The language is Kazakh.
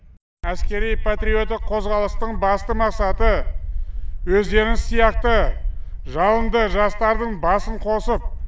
әскери патриоттық қозғалыстың басты мақсаты өздеріңіз сияқты жалынды жастардың басын қосып